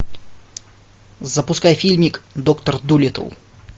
запускай фильмик доктор дулиттл